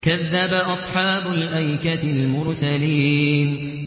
كَذَّبَ أَصْحَابُ الْأَيْكَةِ الْمُرْسَلِينَ